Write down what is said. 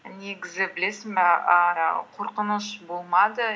негізі білесің бе ііі қорқыныш болмады